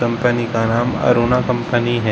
Company का नाम Aruna company है।